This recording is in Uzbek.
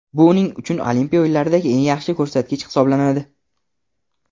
Bu uning uchun Olimpiya o‘yinlaridagi eng yaxshi ko‘rsatkich hisoblanadi.